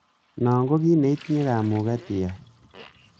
Non ko kit neitinye kamuget iyai.